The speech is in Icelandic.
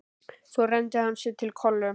Svo renndi hann sér til Kollu.